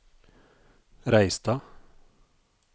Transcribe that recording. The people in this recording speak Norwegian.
Reistad